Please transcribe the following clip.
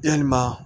Yalima